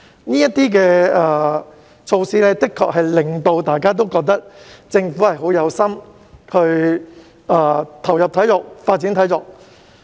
這些措施的確令到大家都覺得，政府是很有心發展體育。